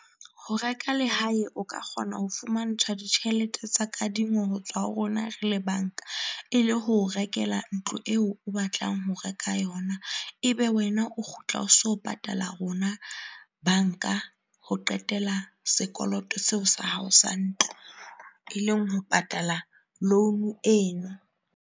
Ho reka lehae o ka kgona ho fumantshwa ditjhelete tsa kadingo hotswa ho rona re le banka e le ho o rekela ntlo eo o batlang ho reka yona. Ebe wena o kgutla o so patala rona banka ho qetela sekoloto seo sa hao sa ntlo, e leng ho patala loan eno.